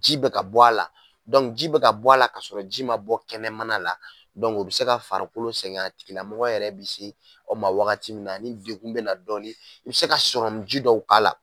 Ji bɛ ka bɔ a la ji bɛ ka bɔ a la ka sɔrɔ ji ma bɔ kɛnɛ mana la, o bi se ka farikolo sɛgɛn a tigila mɔgɔ yɛrɛ bi se aw ma wagati min, a ni degun bina dɔɔnin, a bi se ka ji dɔw k'a la.